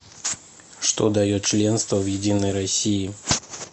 что дает членство в единой россии